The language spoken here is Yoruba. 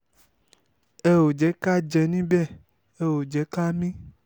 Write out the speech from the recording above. ẹ ò jẹ́ ká jẹ́ níbẹ̀ ẹ ò jẹ́ ká mí